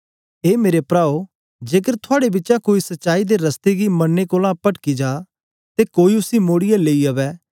ए मेरे प्राओ जेकर थुआड़े बिचा कोई सच्चाई दे रस्ते गी मनने कोलां पटकी जा ते कोई उसी मोड़ीयै लेई अवै